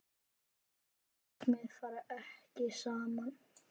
Þessi markmið fara ekki saman.